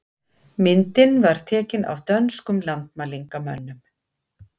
Myndin var tekin af dönskum landmælingamönnum.